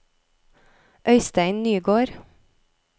Øistein Nygård